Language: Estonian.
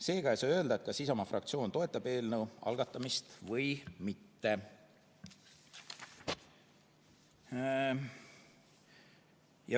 Seega ei saa öelda, kas Isamaa fraktsioon toetab eelnõu algatamist või mitte.